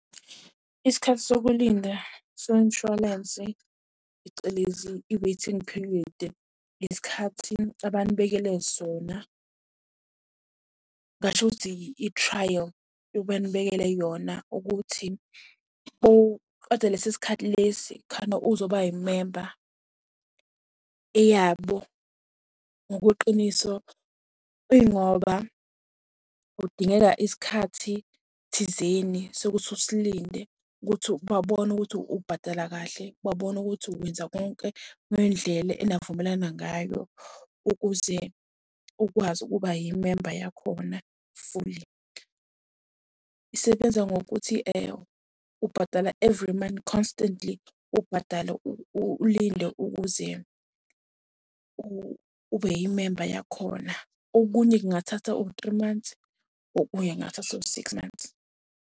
Isikhathi sokulinda somshwalense phecelezi i-waiting period, isikhathi abanibekele sona. Ngingasho ukuthi i-trial yokuba nibekele yona ukuthi uqede lesi sikhathi lesi khane uzoba yimemba. Eyabo ngokweqiniso ingoba kudingeka isikhathi thizeni sokuthi usilinde ukuthi babone ukuthi ubhadala kahle, babone ukuthi wenza konke ngendlela enavumelana ngayo ukuze ukwazi ukuba yimemba yakhona fully. Isebenza ngokuthi ubhadala every month constantly, ubhadale ulinde ukuze ube yimemba yakhona. Okunye kungathatha u-three months, okunye kungathatha o-six months.